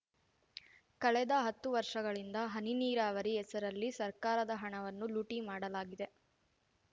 ಕಳೆದ ಹತ್ತು ವರ್ಷಗಳಿಂದ ಹನಿ ನೀರಾವರಿ ಹೆಸರಲ್ಲಿ ಸರ್ಕಾರದ ಹಣವನ್ನು ಲೂಟಿ ಮಾಡಲಾಗಿದೆ